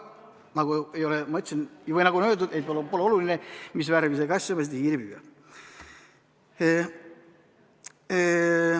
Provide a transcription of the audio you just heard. Aga nagu öeldud, pole oluline, mis värvi see kass on, peaasi, et ta hiiri püüab.